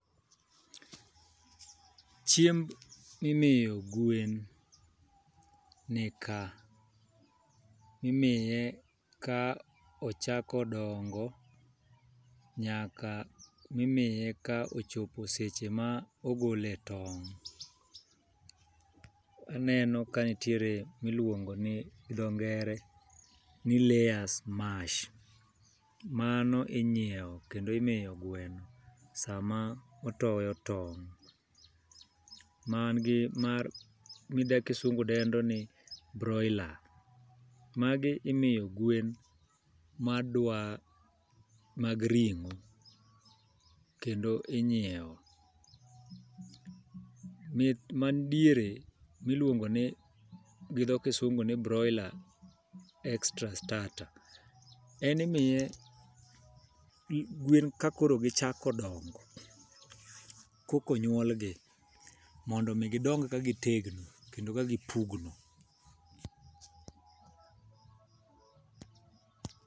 Chiemb mimiyo gwen ni ka, imiye ka ochako dongo nyaka mimiye ka ochopo seche ma ogole tong'. Aneno ka nitiere miluongo ni gidho ngere ni layers mash, mano inyiewo kendo imiyo gweno sama otoyo tong'. Man gi mar ma kisungu dendo ni broiler, magi imiyo gwen ma dwa mag ring'o kendo inyiewo. Man diere miluongo ni gi dho kisungu ni broiler, extra starter. En imiye gwen ka koro gichako dongo, koko nyuolgi. Mondo mi gidong ka gitegno kendo ka gipugno.